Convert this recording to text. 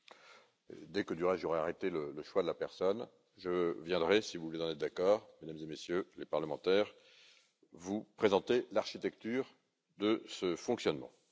Du reste, dès que j'aurai arrêté le choix de la personne, je viendrai, si vous en êtes d'accord, Mesdames et Messieurs les parlementaires, vous présenter l'architecture de ce fonctionnement.